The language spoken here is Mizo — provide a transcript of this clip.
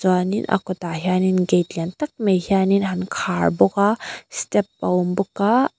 chuanin a kawt ah hianin gate lian tak mai hianin an khar bawk a step a awm bawk a --